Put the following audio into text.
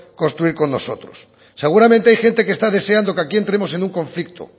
construir con nosotros seguramente hay gente que está deseando que aquí entremos en un conflicto